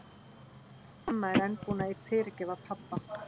Ég veit ekki hvort amma er enn búin að fyrirgefa pabba.